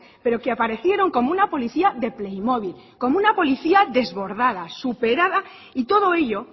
pero que aparecieron como una policía de playmobil como una policía desbordada superada y todo ello